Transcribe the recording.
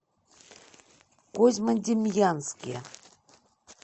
козьмодемьянске